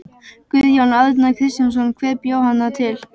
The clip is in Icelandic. Guðjón Arnar Kristjánsson: Hver bjó hana til?